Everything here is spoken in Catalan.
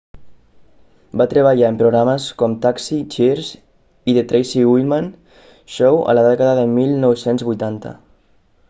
va treballar en programes com taxi cheers i the tracy ullman show a la dècada de 1980